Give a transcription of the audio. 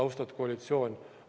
Austatud koalitsioon!